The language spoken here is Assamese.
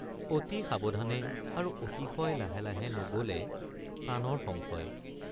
অতি সাৱধানে আৰু অতিশয় লাহে লাহে নগলে প্ৰাণৰ সংশয়।